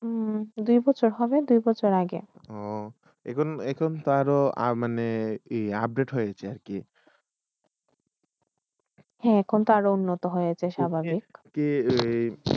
দুই বছর হবে, দুই বছর আগে। এখন এখন তারো মানে update হইয়ে গেশে, মানে কি হ্যা এখনতো আর উন্নত হইসে, স্বাভাবিক। কি